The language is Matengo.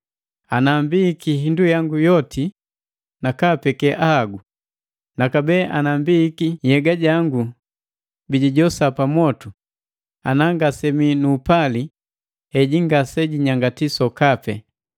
Jojubii nu upali jutenda kuhinakali, jutenda gaamboni, upali ngasegubii na wipu, ngasegukipuna na wala ngasegubii ni kibuli.